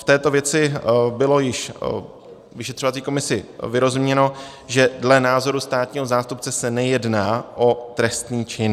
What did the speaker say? V této věci bylo již vyšetřovací komisi vyrozuměno, že dle názoru státního zástupce se nejedná o trestný čin.